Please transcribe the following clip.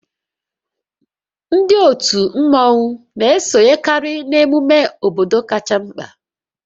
Ndị otu mmọnwu na-esonyekarị n'ememe obodo kacha mkpa